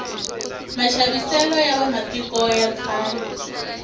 maxaviselo ya va matiko ya khale